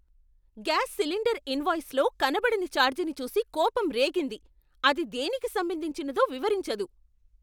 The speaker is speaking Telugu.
గ్యాస్ సిలిండర్ ఇన్వాయిస్లో కనబడని ఛార్జ్ని చూసి కోపం రేగింది, అది దేనికి సంబంధించినదో వివరించదు.